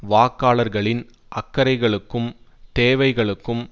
வாக்காளர்களின் அக்கறைகளுக்கும் தேவைகளுக்கும்